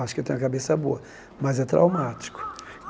Acho que eu tenho a cabeça boa, mas é traumático.